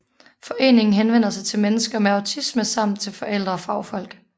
Foreningen henvender sig til mennesker med autisme samt til forældre og fagfolk